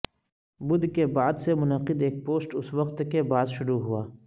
بدھ کے بعد سے منعقد ایک پوسٹ اس وقت کے بعد شروع ہوا